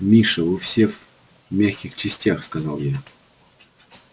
миша вы все в мягких частях сказал я